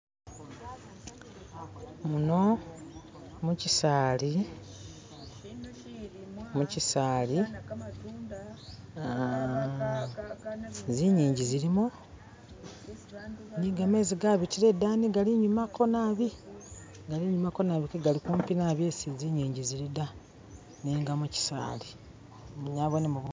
Muno mukiisaali, mukiisaali aaa zingingi zilimo ni gamezi gabitila idani gali inyumako nabi gali inyumako nabi kegaliko kumpi isi zinyingi zili nenga mukisaali, nabonemo ni bu..